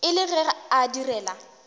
e le ge a direla